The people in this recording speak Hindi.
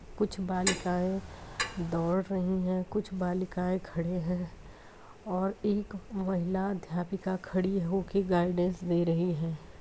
कुछ बालिकाएं दौड़ रही है कुछ बालिकाएं खड़े हैं और एक महिला अध्यापिका खड़ी होकर गाइडेंस दे रही हैं।